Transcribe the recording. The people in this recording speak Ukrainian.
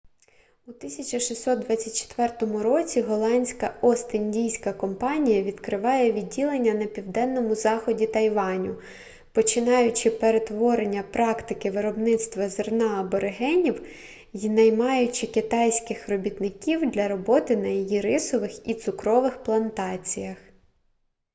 у 1624 році голландська ост-індійська компанія відкриває відділення на південному заході тайваню починаючи перетворення практики виробництва зерна аборигенів й наймаючи китайських робітників для роботи на її рисових і цукрових плантаціях